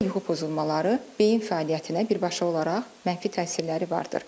Yuxu pozulmaları beyin fəaliyyətinə birbaşa olaraq mənfi təsirləri vardır.